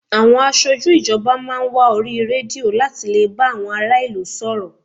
Àwọn aṣojú ìjọba máa ń wá orí rédíò láti lè bá àwọn ará ìlú sọ̀rọ̀